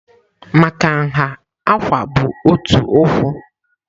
Maka nha, "Àkwà" bụ otu ụkwụ.